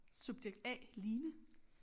Subjekt A Line